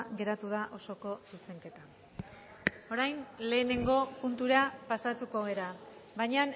geratu da osoko zuzenketa orain lehenengo puntura pasatuko gara baina